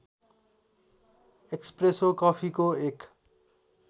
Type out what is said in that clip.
espresso कफीको एक